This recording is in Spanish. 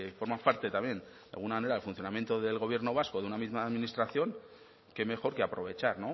forma parte también de alguna manera del funcionamiento del gobierno vasco de una misma administración qué mejor que aprovechar